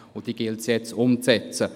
Diese gilt es nun umzusetzen.